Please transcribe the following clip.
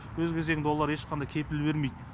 өз кезегінде олар ешқандай кепіл бермейді